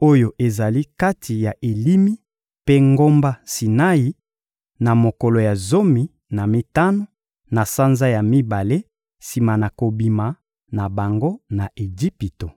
oyo ezali kati ya Elimi mpe ngomba Sinai, na mokolo ya zomi na mitano, na sanza ya mibale sima na kobima na bango na Ejipito.